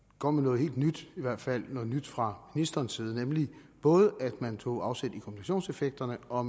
kom med noget helt nyt i hvert fald noget nyt fra ministerens side nemlig både at man tog afsæt i kombinationseffekterne og